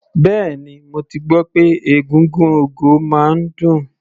Bẹ́ẹ̀ni, mo ti gbọ́ pé egúngún ogo máa ń dùn.